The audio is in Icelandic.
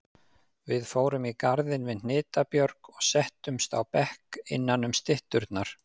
Við fórum í garðinn við Hnitbjörg og settumst á bekk innanum stytturnar.